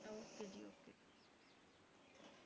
okay ਜੀ okay